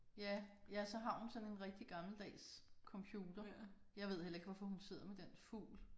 Ja ja så har hun sådan en rigtig gammeldags computer. Jeg ved heller ikke hvorfor hun sidder med den fugl